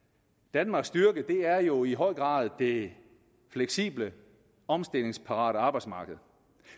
danmarks styrke er jo i høj grad det fleksible omstillingsparate arbejdsmarked